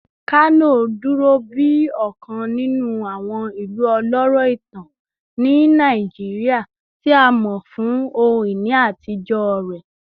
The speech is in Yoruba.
Kano duro bi ọkan ninu awọn ilu ọlọrọ itan ni Naijiria, ti a mọ fun ohun-ini atijọ rẹ